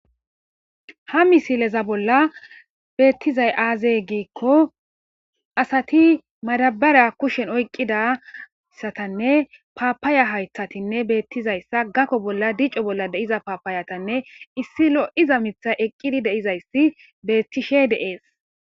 ha misileza bolla beettizay aazey giikko asati madabara kushen oyqqidayssatanne paapaaya haythatinne beettizayssa gakko bolla dico bolla deiza paapaayatanne issi lo7iza mitha eqqidi deizayssi beettishe de7ees